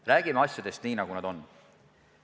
Räägime asjadest nii, nagu need on.